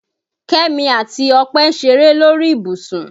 Kẹ́mi àti Ọpẹ́ ń ṣeré lórí ìbùsùn